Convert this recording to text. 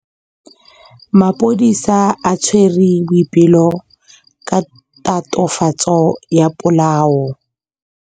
Maphodisa a tshwere Boipelo ka tatofatsô ya polaô.